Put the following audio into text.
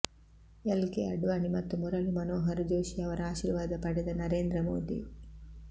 L K Advani ಮತ್ತು ಮುರಳಿ ಮನೋಹರ್ ಜೋಷಿ ಅವರ ಆಶಿರ್ವಾದ ಪಡೆದ ನರೇಂದ್ರ ಮೋದಿ